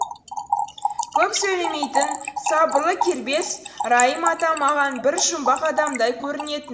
көп сөйлемейтін сабырлы кербез райым атам маған бір жұмбақ адамдай көрінетін